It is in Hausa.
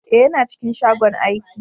Eh, yana cikin shagon aiki.